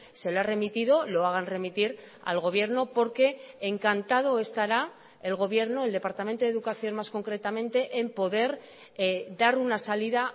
se lo ha remitido lo hagan remitir al gobierno porque encantado estará el gobierno el departamento de educación más concretamente en poder dar una salida